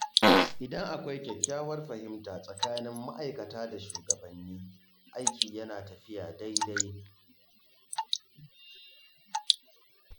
Idan akwai kyakkyawar fahimta tsakanin ma’aikata da shugabanni, aiki yana tafiya daidai.